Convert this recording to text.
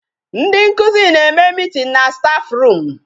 Ndị nkụzi na-eme meeting na staff room.